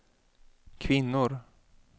kvinnor